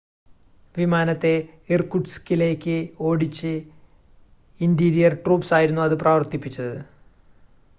വിമാനത്തെ ഇർകുട്സ്കിലേക്ക് ഓടിച്ചു interior troops ആയിരുന്നു അത് പ്രവർത്തിപ്പിച്ചത്